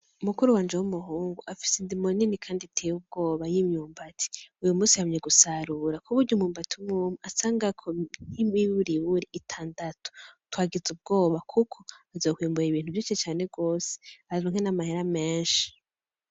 Mukuru wanje w'umuhungu afise indimo nini kandi iteye ubwoba y'imyumbati, Uyumunsi yamye gusarura kuburyo umwumbati umwumwe asangako nimiburiburi itandatu ,twagize ubwoba Kuko azokwimbura ibintu vyinshi cane gose aronke n'amahera menshi.